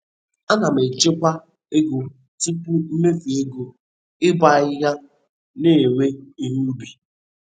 Ana m echekwa ego tupu mmefu ego ịbọ ahịhịa na iwe ihe ubi.